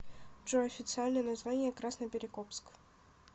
джой официальное название красноперекопск